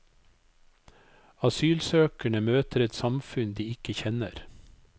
Asylsøkerne møter et samfunn de ikke kjenner.